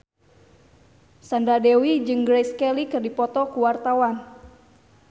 Sandra Dewi jeung Grace Kelly keur dipoto ku wartawan